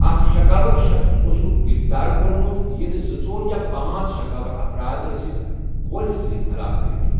اکھ شکاوَر شخٕص اوسُکھ گرفتار کوٚرمُت، ییٚلہِ زِ ژور یا پانٛژھ شکاوَر افراد ٲسِکھ گولہِ سۭتۍ ہلاک کٔرمٕتۍ۔